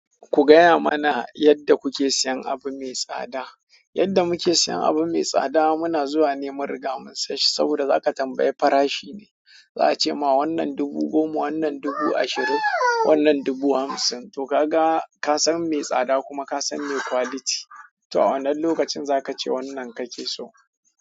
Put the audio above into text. Ku gaya mana yadda kuke siyan abu mai tsada. Yadda muke siyan abu mai tsada muna zuwa ne mun riga mun siya shi saboda za ka tambayi fara shi ne, za a ce ma wannan dubu goma, wannan dubu ashirin, wannan dubu hamsin. To ka ga, ka san mai tsada kuma ka san mai quality. To a wannan lokacin za ka ce wannan kake so.